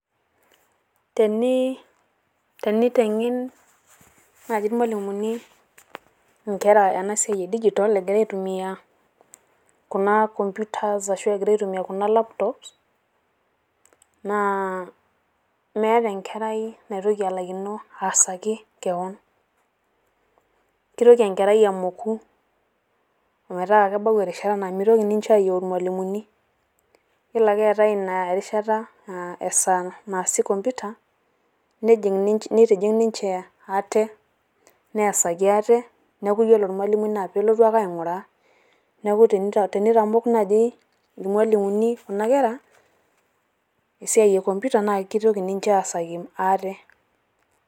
Tenii teniteng'en naii irmalimuni enkera ena siai edijitol egira aitumiya kuna komputa arashu egira aitumiya kuna lapitops naa meeta Enkerai naitoki alaikino aitaasa kewan kesioki Enkerai amoku ometaa kebau engata naa meitoki ninche aayiu irmalimuni, yielo ake eetae erishata aa esaa naasi komputa neitijing' ninche ate neesaki ate neeku ore ormalimui naaa peelotu ake aing'uraa. Neeku teneitamok naii irmalimuni Kuna Kera esiai enkomputa naa keitoki ninche aasaki ate.